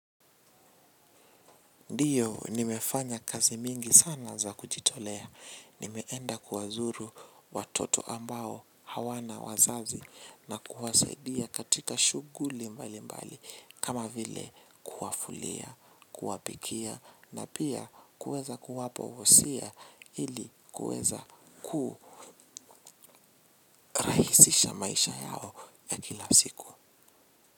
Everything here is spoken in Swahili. Ndiyo nimefanya kazi mingi sana za kujitolea. Nimeenda kuwazuru watoto ambao hawana wazazi na kuwasaidia katika shuguli mbali mbali kama vile kuwafulia, kuwapikia na pia kuweza kuwapo usia ili kuweza kuhurahisisha maisha yao ya kila siku.